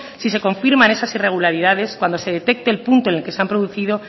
si se confirman esas irregularidades cuando se detecte el punto en el que se han producido